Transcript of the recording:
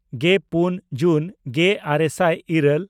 ᱜᱮᱼᱯᱩᱱ ᱡᱩᱱ ᱜᱮᱼᱟᱨᱮ ᱥᱟᱭ ᱤᱨᱟᱹᱞ